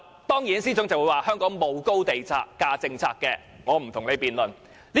當然，司長會說香港沒有高地價政策，我不跟他辯論。